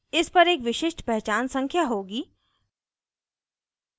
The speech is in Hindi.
इस पर एक विशिष्ट पहचान संख्या होगी